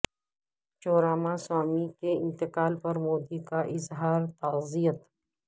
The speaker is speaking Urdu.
چو راما سوامی کے انتقال پر مودی کا اظہار تعزیت